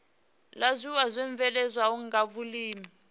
la zwiiwa zwibveledzwaho nga vhulimi